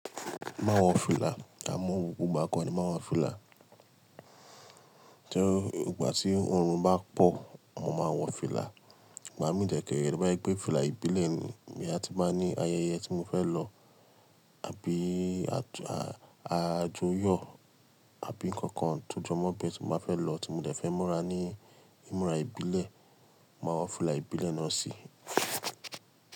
Mo máa ń wọ fìlà, àmọ́ gbogbo ìgbà kọ́ ni mo má ń wọ fìlà. Tí ọ̀o bá tí oòrùn bá pọ̀, ni mo máa ń wọ fìlà. Ìgbà mi dé kẹ́ẹ̀ rẹ́ tó bá jẹ́ pé fìlà ìbílẹ̀ ni, bóyá tó bá ní ayẹyẹ tí mo fẹ́ lọ àbí àjọyọ̀ àbí nǹkan kan tó jọ mọ́ bí pè tí mo bá fẹ́ lọ tí mo dẹ̀ fẹ́ múra ní ìmúra ìbílẹ̀, màá wọ fìlà ìbílẹ̀ náà sí i.